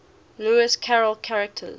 lewis carroll characters